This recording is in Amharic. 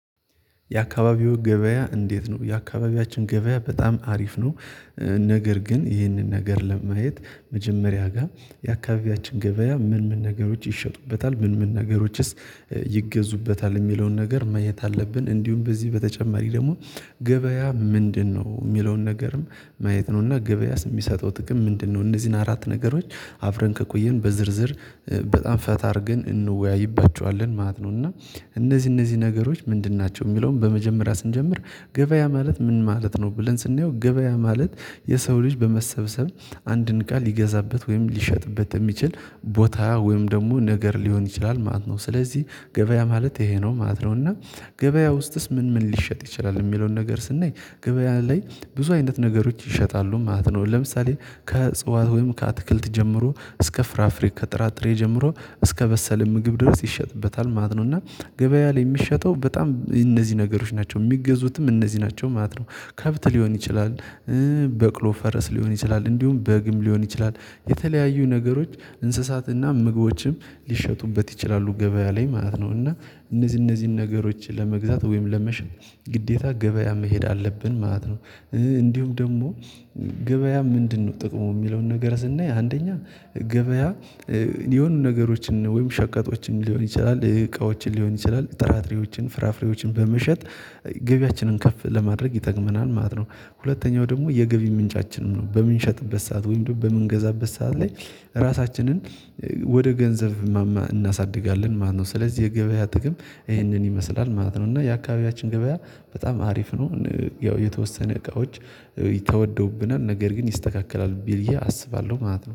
የአካባቢው ገበያ እንዴት ነው? የአካባቢያችን ገበያ በጣም አሪፍ ነው ነገር ግን ይህንን ነገር ለማየት መጀመሪያ ጋር የአካባቢያችን ገበያ ምን ምን ነገሮች ይሸጡበታል ምን ምን ነገሮችስ ይገዙበታል የሚለውን ነገር ማየት አለብን እንዲሁም በዚህ በተጨማሪ ደግሞ ገበያ ምንድነው የሚለውን ነገርም ማየት ነውና ገበያስ የሚሰጠው ጥቅም ምንድነው እነዚህን አራት ነገሮች አብረን ከቆየን በዝርዝር በጣም ፈታ አርገን እንወያይባቸዋለን ማለት ነው እና እነዚህ እነዚህ ነገሮች ምንድን ናቸው የሚለውን በመጀመሪያ ስንጀምር ገበያ ማለት ምን ማለት ነው ብለን ስናየው ገበያ ማለት የሰው ልጅ በመሰብሰብ አንድን ቃል ሊገዛበት ወይም ሊሸጥበት እሚችል ቦታ ወይም ደግሞ ነገር ሊሆን ይችላል ማለት ነው ስለዚህ ገበያ ማለት ይሄ ነው ማለት ነው እና ገበያ ውስጥስ ምን ምን ሊሸጥ ይችላል የሚለውን ነገር ስናይ ገበያ ላይ ብዙ አይነት ነገሮች ይሸጣሉ ማለት ነው ለምሳሌ ከጽዋት ወይም ከአትክልት ጀምሮ እስከ ፍራፍሬ ከጥራጥሬ ጀምሮ እስከበሰለ ምግብ ድረስ ይሸጥበታል ማለት ነው እና ገበያ ላይ የሚሸጠው በጣም እነዚህ ነገሮች ናቸው የሚገዙትም እነዚህ ናቸው ማለት ነው ከብት ሊሆን ይችላል በቅሎ፣ ፈረስ ሊሆን ይችላል እንዲሁም በግም ሊሆን ይችላል የተለያዩ ነገሮች እንስሳትና ምግቦችም ሊሸጡበት ይችላሉ ገበያ ላይ ማለት ነው እና እነዚህ እነዚህን ነገሮች ለመግዛት ወይም ለመሸጥ ግዴታ ገበያ መሄድ አለብን ማለት ነው እንዲሁም ደግሞ ገበያ ምንድነው ጥቅሙ የሚለውን ነገር ስናይ አንደኛ ገበያ የሆኑ ነገሮችን ወይም ሸቀጦችን ሊሆን ይችላል እቃዎችን ሊሆን ይችላል ጥራጥሬዎችን ፍራፍሬዎችን በመሸጥ ገቢያችንን ከፍ ለማድረግ ይጠቅመናል ማለት ነው ሁለተኛው ደግሞ የገቢ ምንጫችንም ነው በምንሸጥበት ሰዓት ወይም ደግሞ በምንገዛበት ሰዓት ላይ ራሳችንን ወደ ገንዘብ እናሳድጋለን ማለት ነው ስለዚህ የገበያ ጥቅም ይህንን ይመስላል ማለት ነው እና የአካባቢያችን ገበያ በጣም አሪፍ ነው ያው የተወሰነ እቃዎች ተወደውብናል ነገር ግን ይስተካከላል ብዬ አስባለሁ ማለት ነው